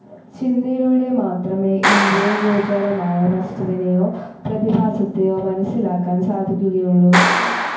ചിന്തയിലൂടെ മാത്രമേ ഇന്ദ്രിയഗോചരമായ വസ്തുവിനെയോ പ്രതിഭാസത്തെയോ മനസ്സിലാക്കാൻ സാധിക്കുകയുള്ളു.